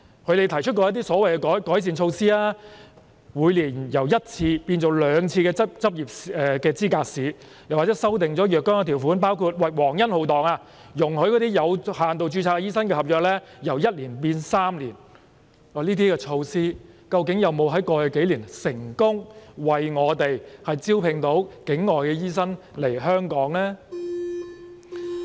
他們曾提出一些所謂改善措施，例如執業資格試由每年舉行一次改為兩次，以及修訂了若干條款，包括皇恩浩蕩地容許有限度註冊醫生的合約期由1年延長至3年，但在過去數年，這些措施究竟有否為我們成功招聘境外醫生來港呢？